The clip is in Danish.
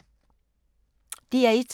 DR1